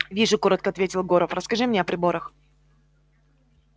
вижу коротко ответил горов расскажи мне о приборах